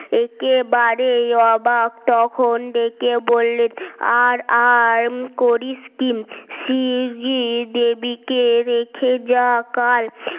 একেবারেই অবাক তখন ডেকে বললেন আর আরম করিস স্যার জি দেবীকে রেখে যা কাল